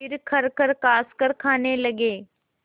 फिर खरखर खाँसकर खाने लगे